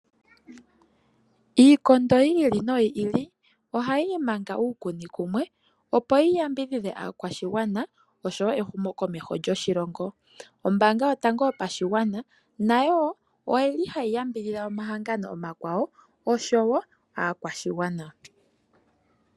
Iikondo yiili no yiili ohayii manga uukuni kumwe, opo yi yambidhi dhe aakwashigwana osho wo ehumo komeho djo shilongo. Ombaanga yo tango yo pa shigwana, nayo oyili hayi yambi dhidha oma hangano oma kwawo, osho wo aakwashigwana.